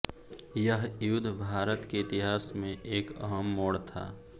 यह युद्ध भारत के इतिहास में एक अहम मोड़ था